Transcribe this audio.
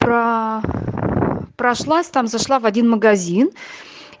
про прошлась там зашла в один магазин